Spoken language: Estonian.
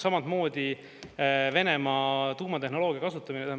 Samatmoodi Venemaa tuumatehnoloogia kasutamine.